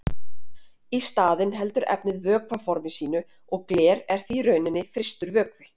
Í staðinn heldur efnið vökvaformi sínu og gler er því í rauninni frystur vökvi.